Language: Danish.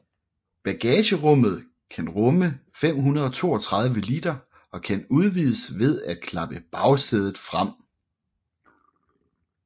Bagagerummet kan rumme 532 liter og kan udvides ved at klappe bagsædet frem